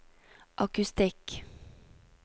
akustikk